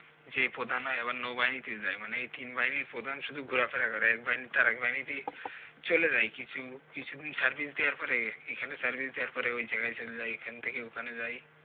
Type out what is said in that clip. সে প্রধান হয় আবার নৌ বাহিনীতে যায় মানে এই তিন বাহিনির প্রধান শুধু ঘোরাফেরা করে এক বাহিনি থেকে এক বাহিনি তেই চলে যায় কিছু কিছু দিন service দেয়ার পরে এইখানে service দেয়ার পরে ওই জায়াগায় চলে যায় এই খান থেকে ওখানে যায়।